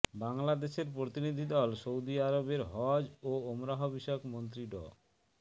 বাংলাদেশের প্রতিনিধি দল সৌদি আরবের হজ ও ওমরাহ বিষয়ক মন্ত্রী ড